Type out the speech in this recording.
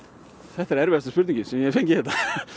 þetta er erfiðasta spurningin sem ég hef fengið hérna